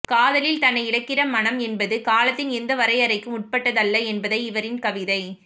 காதலில் தன்னை இழக்கிற மனம் என்பது காலத்தின் எந்த வரையறைக்கும் உட்பட்டதல்ல என்பதை இவரின் கவிதை